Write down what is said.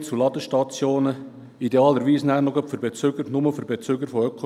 Die Zugänglichkeit soll idealweise nur noch für Bezüger von Ökostrom bestehen.